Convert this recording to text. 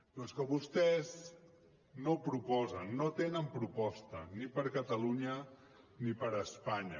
però és que vostès no proposen no tenen proposta ni per a catalunya ni per a espanya